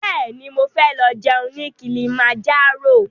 Bẹ́ẹ̀ni, mo fẹ́ lọ jẹun ní Kilimanjaro